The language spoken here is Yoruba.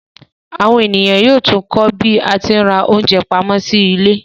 Àwọn ènìyàn yóò tún kọ́ bí a tí ń ra oúnjẹ pamọ́ sí ilé